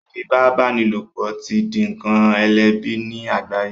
Ifipabanilopo ti dì nkán elẹbi ní àgbáye